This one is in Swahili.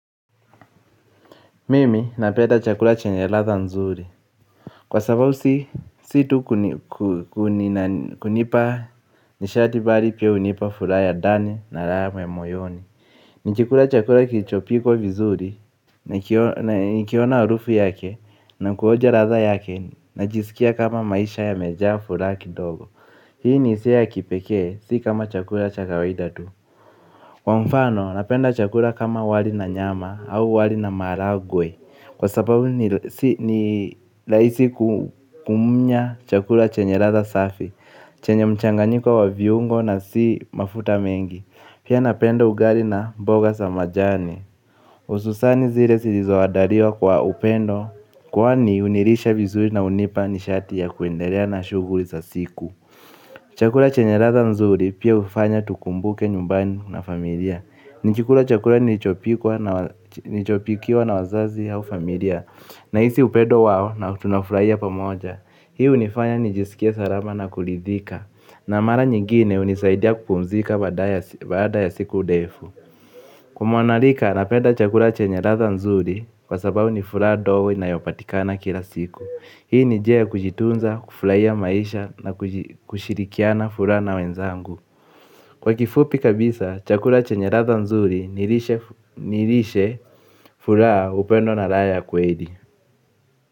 Mimi napenda chakula chenye ladha nzuri. Kwa sababu si tu kunipa nishati bali pia hunipa furaha ya ndani raha mwoyoni. Nikikula chakula kilichopikwa vizuri, nikiona harufu yake na kuonja ladha yake najisikia kama maisha yameja furaha kidogo. Hii ni hisia ya kipekee, si kama chakula cha kawaida tu. Kwa mfano, napenda chakula kama wali na nyama au wali na maharagwe. Kwa sababu ni rahisi kumumunya chakula chenye ladha safi. Chenye mchanganyiko wa viungo na si mafuta mengi pia napendo ugali na mboga za majani hususani zile zilizoandaliwa kwa upendo. Kwani hunilisha vizuri na hunipa nishati ya kuendelea na shughuli za siku. Chakula chenye ladha nzuri pia hufanya tukumbuke nyumbani na familia. Nikikula chakula nilichopikiwa na wazazi au familia nahisi upendo wao na tunafurahia pamoja. Hii hunifanya nijisikie salama na kuridhika. Na mara nyingine hunisaidia kupumzika baada ya siku ndefu. Kwa mwanarika, napenda chakula chenye ladha nzuri kwa sababu ni furaha ndogo inayopatikana kila siku. Hii ni njia ya kujitunza, kufurahia maisha na kushirikiana furaha na wenzangu. Kwa kifupi kabisa, chakula chenye ladha nzuri ni lishe furaha upendo na raha ya kweli.